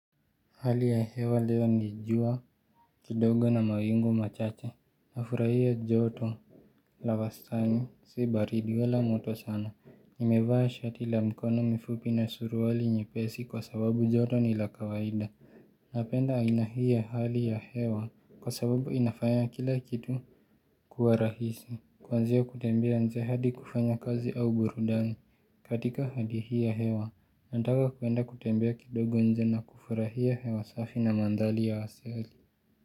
Hali ya hewa leo ni jua kidogo na mawingu machache. Nafurahia joto la wastani si baridi wala moto sana. Nimevaa shati la mkono mifupi na suruali nyepesi kwa sababu joto ni la kawaida. Napenda aina hii ya hali ya hewa kwa sababu inafanya kila kitu kuwa rahisi. Kuanzia kutembea nje hadi kufanya kazi au burudani. Katika hali hii ya hewa, nataka kuenda kutembea kidogo nje na kufurahia hewa safi na mandhari ya asili.